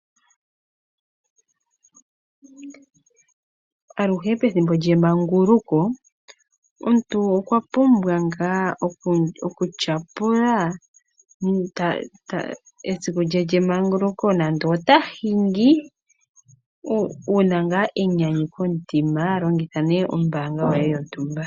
Aluhe pethimbo lyemanguluko omuntu okwa pumbwa ngaa okutyapula esiku lye lyemanguluko nande ota hingi wu na ngaa enyanyu komutima longitha nee ombanga yoye yontumba.